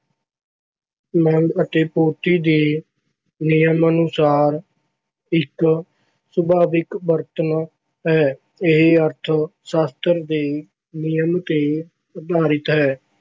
ਮੰਗ ਅਤੇ ਪੂਰਤੀ ਦੇ ਨਿਯਮ ਅਨੁਸਾਰ ਇੱਕ ਸੁਭਾਵਿਕ ਵਰਤਾਰਾ ਹੈ। ਇਹ ਅਰਥ ਸ਼ਾਸ਼ਤਰ ਦੇ ਨਿਯਮ ਤੇ ਆਧਾਰਿਤ ਹੈ।